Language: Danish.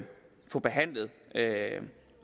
få behandlet